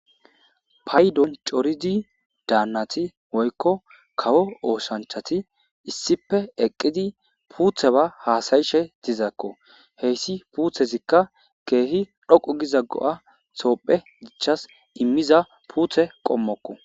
paydon coridi daannati woykko kawo ooshanchati issipe eqqidi puutheba haasayishe dizaakko heyssi puuthezikka keehi dhoqu giza go7a soopphe gichas immiza puuthe qommokko